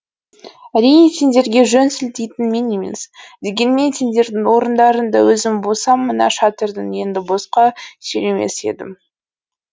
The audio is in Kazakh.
әрине сендерге жөн сілтейтін мен емес дегенмен сендердің орындарыңда өзім болсам мына шатырды енді босқа сүйремес едім